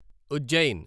Ujjain